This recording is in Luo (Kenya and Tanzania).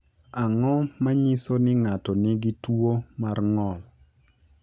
Ang’o ma nyiso ni ng’ato nigi tuwo mar ng’ol?